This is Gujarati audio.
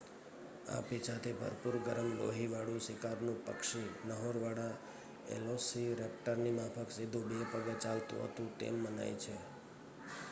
આ પીંછાથી ભરપૂર ગરમ લોહીવાળું શિકારનું પક્ષી નહોરવાળા વેલોસિરૅપ્ટરની માફક સીધું બે પગે ચાલતું હતું તેમ મનાય છે